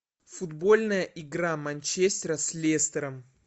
футбольная игра манчестера с лестером